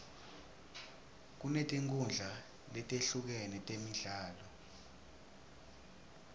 kunetinkhundla letehlukene temidlalo